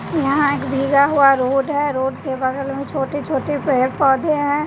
यहां एक भीगा हुआ रोड है रोड के बगल में छोटे छोटे पेड़ पौधे हैं।